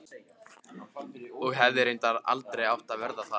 Og hefði reyndar aldrei átt að verða það.